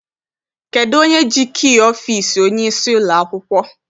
Kedụ onye ji kii ọfịịsi onyeisi ụlọakwụkwọ?